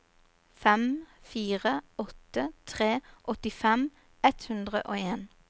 fem fire åtte tre åttifem ett hundre og en